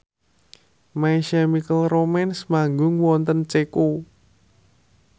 My Chemical Romance manggung wonten Ceko